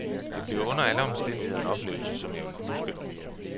Det bliver under alle omstændigheder en oplevelse, som jeg vil huske.